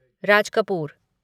Raj Kapoor